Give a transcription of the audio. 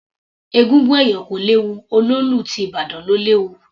Egúngún ẹ̀yọ̀ kò léwu, olóòlù ti ìbàdàn ló léwu.